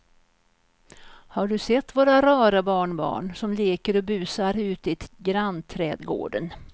Har du sett våra rara barnbarn som leker och busar ute i grannträdgården!